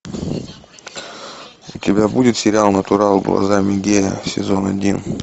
у тебя будет сериал натурал глазами гея сезон один